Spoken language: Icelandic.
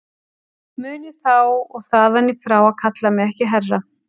Munið þá og þaðan í frá að kalla mig ekki herra.